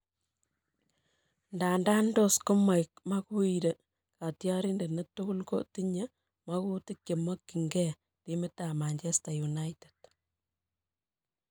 Ndanda tos komaek Maguire katyarindet netukul ko tinye makutik chemakyin geh timit ab Manchester United